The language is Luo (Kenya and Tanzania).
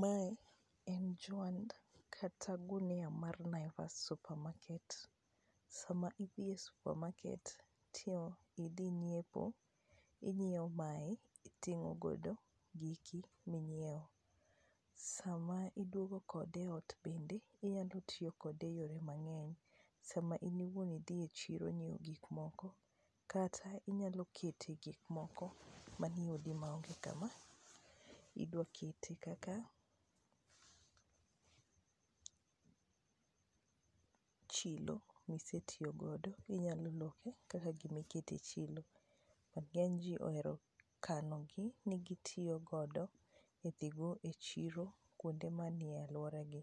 mae en juand kata gunia mar naivas supermarket sama idhiye idhi nyiepo ,inyiewo mae iting'o godo giki minyiewo ,sama iduogo kode e ot bende ,inyalo tiyo kode e yore mang'eny sama in iwuon idhi e chiro ng'iewo gik moko kata inyalo kete gik moko manie odi maonge kama idwakete kaka chilo misetiyo godo inyalo loke kaka gima ikete chilo, ng'eny ji ohero kanogi ni gi tiyo godo e dhi go e chiro kuonde manie aluora gi,